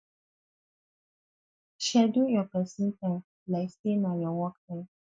schedule your pesin time like sey na your work time